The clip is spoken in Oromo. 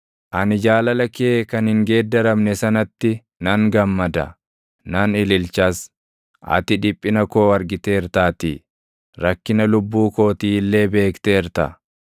Ani jaalala kee kan hin geeddaramne sanatti nan gammada; nan ililchas; ati dhiphina koo argiteertaatii; rakkina lubbuu kootii illee beekteerta.